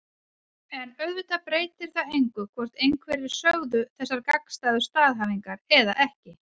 En auðvitað breytir það engu hvort einhverjir sögðu þessar gagnstæðu staðhæfingar eða ekki.